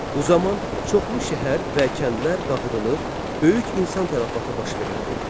Bu zaman çoxlu şəhər və kəndler dağıdılır, böyük insan tələfatı baş verirdi.